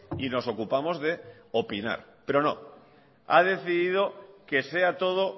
y nos ocupamos de opinar pero no ha decidido que sea todo